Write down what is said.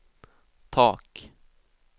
tak